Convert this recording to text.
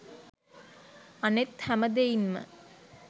අනෙක් හැම දෙයින්ම